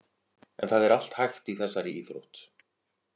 En það er allt hægt í þessari íþrótt.